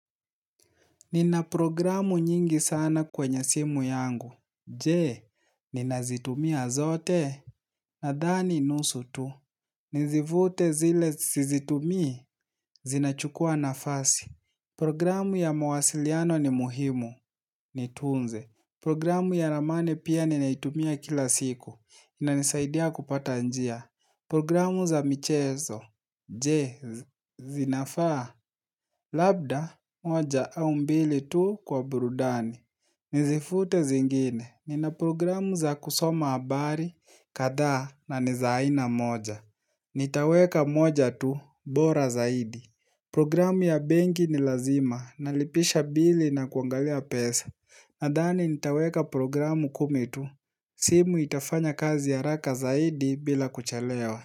Nina programu nyingi sana kwenye simu yangu, jee, ninazitumia zote, nadhani nusu tu, nizivute zile sizitumi? Zinachukua nafasi. Programu ya mawasiliano ni muhimu, nitunze. Programu ya ramani pia ninaitumia kila siku, inanisaidia kupata njia. Programu za michezo, je, zinafaa, labda, moja, au mbili tu kwa burudani. Nizifute zingine, nina programu za kusoma habari, kadhaa na ni za aina moja. Nitaweka moja tu, bora zaidi. Programu ya benki ni lazima, nalipisha bili na kuangalia pesa. Nadhani nitaweka programu kumi tu. Simu itafanya kazi haraka zaidi bila kuchalewa.